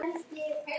Okkur er nóg boðið